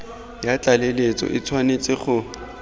ya tlaleletso e tshwanetse go